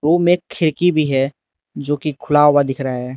Room में एक खिड़की भी है जो कि खुला हुआ दिख रहा है।